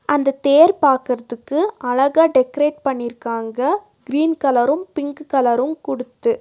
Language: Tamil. அந்த தேர் பாக்கர்துக்கு அழகா டெக்ரேட் பண்ணிருக்காங்க கிரீன் கலரு பிங்க் கலரு குடுத்து.